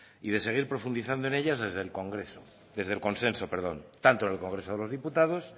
y de seguir profundizando en ellas desde el consenso tanto en el congreso de los diputados